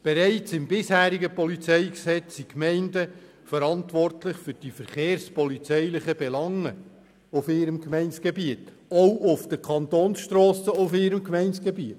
Bereits im bisherigen PolG sind die Gemeinden verantwortlich für die verkehrspolizeilichen Belange auf ihrem Gemeindegebiet – natürlich auch auf den Kantonsstrassen auf ihrem Gemeindegebiet.